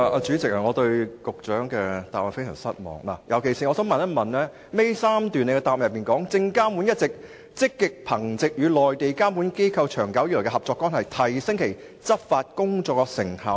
主席，我對局長的答覆非常失望，尤其是主體答覆第二及三部分結尾第3段，"證監會一直積極憑藉與內地監管機構長久以來的合作關係，提升其執法工作的成效"。